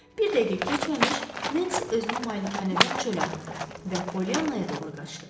Bir dəqiqə keçməmiş Nensi özünü malikanədən çölə atdı və Polyannaya doğru qaçdı.